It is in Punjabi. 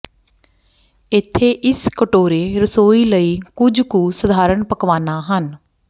ਇੱਥੇ ਇਸ ਕਟੋਰੇ ਰਸੋਈ ਲਈ ਕੁਝ ਕੁ ਸਧਾਰਨ ਪਕਵਾਨਾ ਹਨ